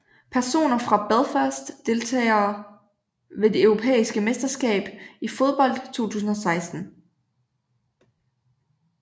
Personer fra Belfast Deltagere ved det europæiske mesterskab i fodbold 2016